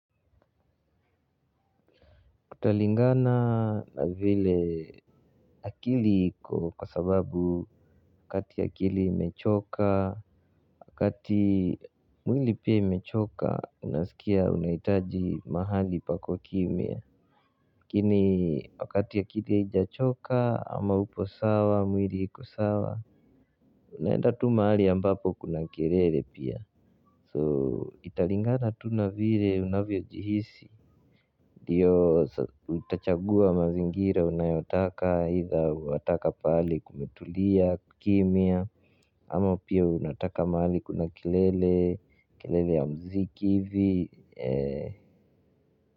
Kutalingana na vile akili iko kwa sababu wakati akili imechoka, wakati mwili pia imechoka unasikia unahitaji mahali pako kimya lakini wakati akili haijachoka ama uko sawa, mwili iko sawa unaenda tu mahali ambapo kuna kelele pia, so italingana tu na vile unavyojihisi ndiyo utachagua mazingira unayotaka eitha wataka pahali kumetulia kukimia ama pia unataka mahali kuna kelele, kelele ya mziki hivi.